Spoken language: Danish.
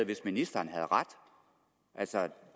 hvis ministeren havde ret altså